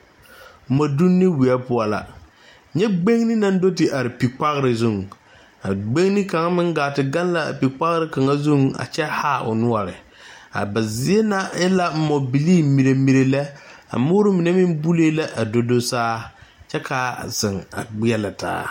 Mɔdonne weɛ poɔ la nyɛ gbeŋne naŋ do te are pikpogre zuŋ a gbeŋne kaŋa meŋ gaa te gaŋ l,a pikpogre kaŋa zuŋ kyɛ haa o noɔre a ba zie na e la mɔbilii merɛ merɛ lɛ a moore mine meŋ bulee la a do do saa kyɛ k,a zeŋ a gbeɛlɛ taa.